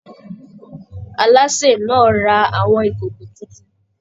Aláṣè náà ra àwọn ìkòkò títún.